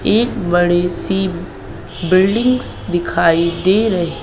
एक बड़ी सी बिल्डिंगस दिखाई दे रही।